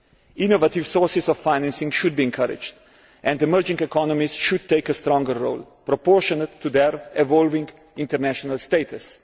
Innovative sources of financing should be encouraged and emerging economies should take a stronger role proportionate to their evolving international status.